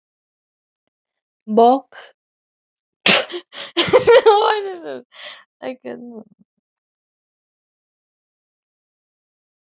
Og getur ekki annað en brosað þrátt fyrir allt, þetta er svo ruglað.